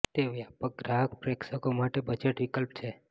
તે વ્યાપક ગ્રાહક પ્રેક્ષકો માટે બજેટ વિકલ્પ છે